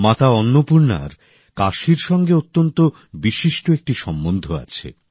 মাতা অন্নপূর্ণার কাশীর সঙ্গে অত্যন্ত বিশিষ্ট একটি সম্বন্ধ আছে